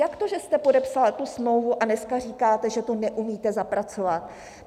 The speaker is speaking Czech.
Jak to, že jste podepsal tu smlouvu, a dneska říkáte, že to neumíte zapracovat?